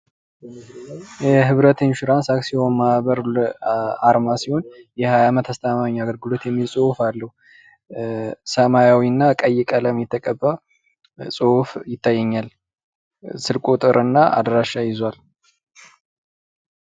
የህብረት ኢንሹራንስ አክሲዮን ማህበር አርማ ሲሆን የሀያ አመት አስተማማኝ አገልግሎት የሚል ፅሁፍ አለው። ሰማያዊና ቀይ ቀለም የተቀባ ፅሁፍ ይታየኛል። ስልክ ቁጥርና አድራሻ ይዟል።